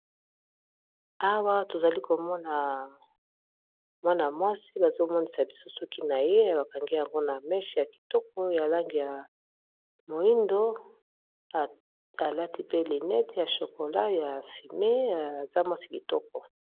Awa tozali komona mwana-mwasi bazomonisa bisu soki na ye bakangi yango na meshe ya kitoko ya lange ya moindo, alati pe linete ya chokola ya fime aza mwasi kitoko.